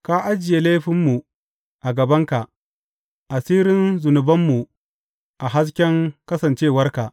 Ka ajiye laifinmu a gabanka, asirin zunubanmu a hasken kasancewarka.